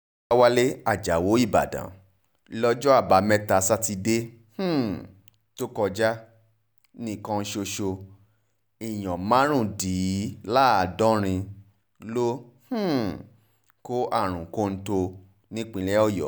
ọ̀làwálẹ̀ ajáò ìbàdàn lọ́jọ́ àbámẹ́ta sátidé um tó kọjá nìkan ṣoṣo èèyàn márùndínláàádọ́rin ló um kó àrùn kọ́ńtò nípínlẹ̀ ọ̀yọ́